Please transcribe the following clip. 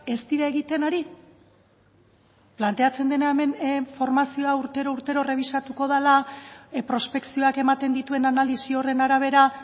ez dira egiten ari planteatzen dena hemen formazioa urtero urtero errebisatuko dela prospekzioak ematen dituen analisi horren arabera